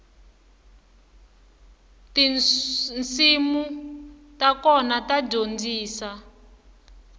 tinsimu ta kona ta dyondzisa